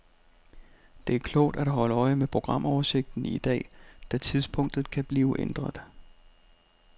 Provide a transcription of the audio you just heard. Det er klogt at holde øje med programoversigten i dag, da tidspunktet kan blive ændret.